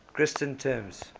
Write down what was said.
christian terms